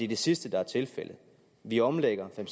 det sidste der er tilfældet vi omlægger fem